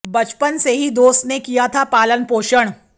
बचपन से ही दोस्त ने किया था पालन पोषण